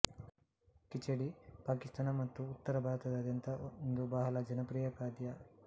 ಖಿಚಡಿ ಪಾಕಿಸ್ತಾನ ಮತ್ತು ಉತ್ತರ ಭಾರತದಾದ್ಯಂತ ಒಂದು ಬಹಳ ಜನಪ್ರಿಯ ಖಾದ್ಯ